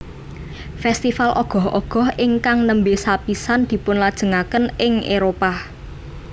Festival Ogoh Ogoh ingkang nembe sapisan dipunlajengaken ing Éropah